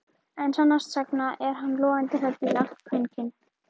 En sannast sagna er hann logandi hræddur við allt kvenkyn